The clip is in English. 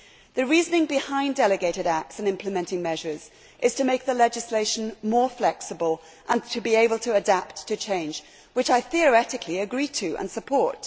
The reasoning behind delegated acts and implementing measures is to make the legislation more flexible and to be able to adapt to change, which I theoretically agree with and support.